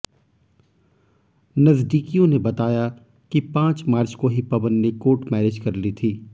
नजदीकियों ने बताया कि पांच मार्च को ही पवन ने कोर्ट मैरिज कर ली थी